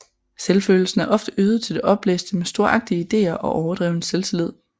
Selvfølelsen er ofte øget til det opblæste med storagtige ideer og overdreven selvtillid